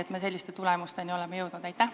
Miks me selliste tulemusteni oleme jõudnud?